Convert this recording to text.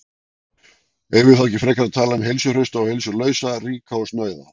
Eigum við þá ekki frekar að tala um heilsuhrausta og heilsulausa, ríka og snauða?